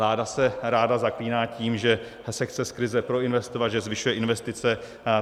Vláda se ráda zaklíná tím, že se chce z krize proinvestovat, že zvyšuje investice.